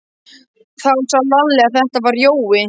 Þá sá Lalli að þetta var Jói.